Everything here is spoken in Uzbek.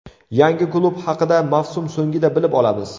Yangi klub haqida mavsum so‘ngida bilib olamiz.